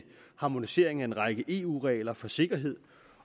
harmonisering af en række eu regler for sikkerhed